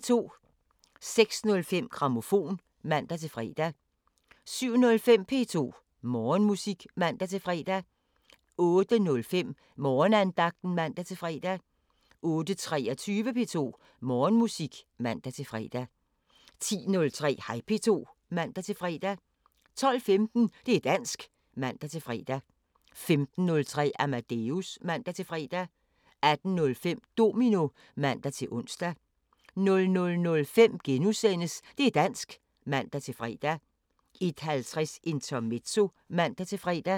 06:05: Grammofon (man-fre) 07:05: P2 Morgenmusik (man-fre) 08:05: Morgenandagten (man-fre) 08:23: P2 Morgenmusik (man-fre) 10:03: Hej P2 (man-fre) 12:15: Det' dansk (man-fre) 15:03: Amadeus (man-fre) 18:05: Domino (man-ons) 00:05: Det' dansk *(man-fre) 01:50: Intermezzo (man-fre)